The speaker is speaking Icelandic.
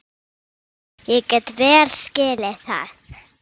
Ég get vel skilið það.